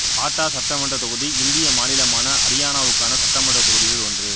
பாட்டா சட்டமன்றத் தொகுதி இந்திய மாநிலமான அரியானாவுக்கான சட்டமன்றத் தொகுதிகளில் ஒன்று